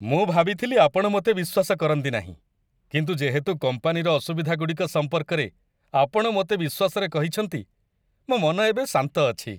ମୁଁ ଭାବିଥିଲି ଆପଣ ମୋତେ ବିଶ୍ୱାସ କରନ୍ତି ନାହିଁ, କିନ୍ତୁ ଯେହେତୁ କମ୍ପାନୀର ଅସୁବିଧାଗୁଡ଼ିକ ସମ୍ପର୍କରେ ଆପଣ ମୋତେ ବିଶ୍ୱାସରେ କହିଛନ୍ତି, ମୋ ମନ ଏବେ ଶାନ୍ତ ଅଛି।